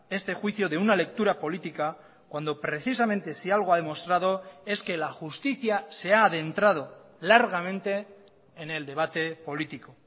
este juicio de una lectura política cuando precisamente si algo ha demostrado es que la justicia se ha adentrado largamente en el debate político